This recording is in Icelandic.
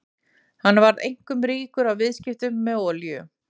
Hann varð einkum ríkur á viðskiptum með olíu.